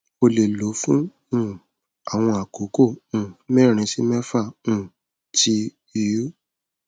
o le lọ fun um awọn akoko um merin si mefa um ti iui